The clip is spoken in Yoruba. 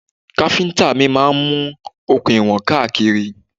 Káfíntà mi máa mú okùn ìwọ̀n káàkiri.